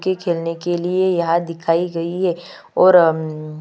के खेलने के लिए यह दिखाई गई है और अम --